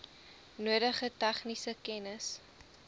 nodige tegniese kennis